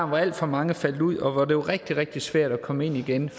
hvor alt for mange faldt ud og hvor det var rigtig rigtig svært at komme ind igen